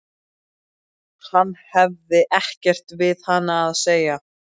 Hann hefði ekkert við hana að segja.